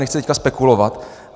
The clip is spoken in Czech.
Nechci tady spekulovat.